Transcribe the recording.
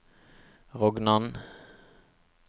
Rognan